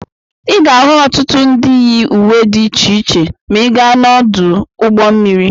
Ị ga-ahụ ọtụtụ ndị yi uwe dị iche iche ma ị gaa n'ọdụ ụgbọ mmiri.